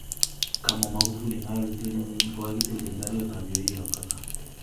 kamwa Magufuli* ngalalutyet inyin kogagitil ak rariot ap yoik ap kata